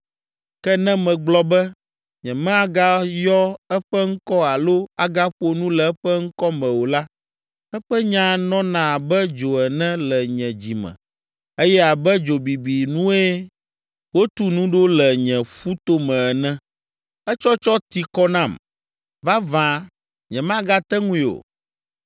Ke ne megblɔ be, “Nyemagayɔ eƒe ŋkɔ alo agaƒo nu le eƒe ŋkɔ me o” la, eƒe nya nɔna abe dzo ene le nye dzi me, eye abe dzo bibi nue wotu nu ɖo le nye ƒu tome ene. Etsɔtsɔ ti kɔ nam. Vavã nyemagate ŋui o.